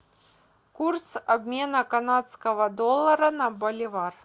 курс обмена канадского доллара на боливар